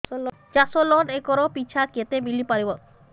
ଚାଷ loan acre ପିଛା କେତେ ମିଳି ପାରିବ